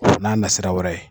N'a nasira wɛrɛ ye.